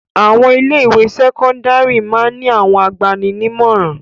Àwọn ilé-ìwé sẹ́kọ́ndárì máa ń ní àwọn agbani-nímọ̀ràn.